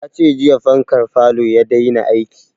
Ya ce jiya fankar falo ya daina aiki